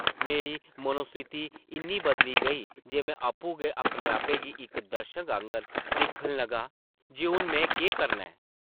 मेरी मनोस्थिति इन्नी बदली गेई जे में आपूं गै अपने आपै गी इक दर्शक आंगर दिक्खन लगा जे हून में केह् करना ऐ?